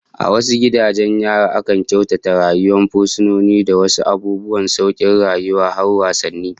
A wasu gidajen yarin akan kyautata rayuwar fursunoni da wasu abubuwan saukin rayuwa, har wasanni